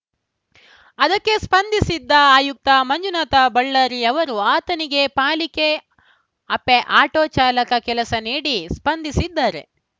ಅದಕ್ಕೆ ಸ್ಪಂದಿಸಿದ್ದ ಆಯುಕ್ತ ಮಂಜುನಾಥ ಬಳ್ಳಾರಿ ಅವರು ಆತನಿಗೆ ಪಾಲಿಕೆ ಅಪೆ ಆಟೋ ಚಾಲಕನ ಕೆಲಸ ನೀಡಿ ಸ್ಪಂದಿಸಿದ್ದಾರೆ